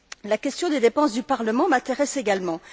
La question des dépenses du Parlement m'intéresse également.